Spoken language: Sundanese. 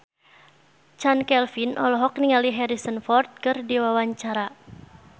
Chand Kelvin olohok ningali Harrison Ford keur diwawancara